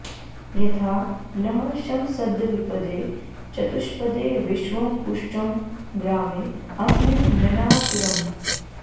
यथा नः शमसद्द्विपदे चतुष्पदे विश्वं पुष्टं ग्रामे आस्मिन्ननातुरम्